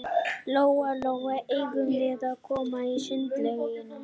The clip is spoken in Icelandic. Lóa-Lóa, eigum við að koma í sundlaugina?